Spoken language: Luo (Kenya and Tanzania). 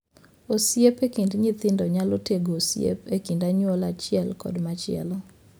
Osiep e kind nyithindo nyalo tego osiep e kind anyuola achiel kod machielo.